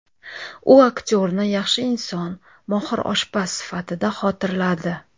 U aktyorni yaxshi inson, mohir oshpaz sifatida xotirladi.